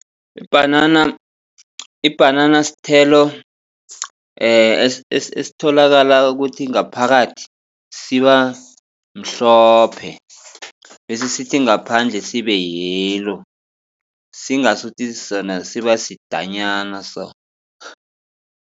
Ibhanana ibhanana sithelo esitholakala ukuthi ngaphakathi siba mhlophe. Bese sithi ngaphandle sibe yellow singasuthi sona siba sidenyana so.